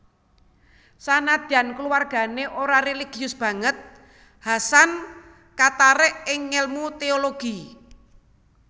Senadyan kulawargané ora réligius banget Hasan katarik ing ngèlmu téologi